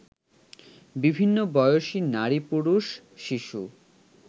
বিভিন্ন বয়সী নারী-পুরুষ-শিশু